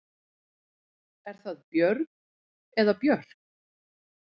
Er það Björg eða Björk?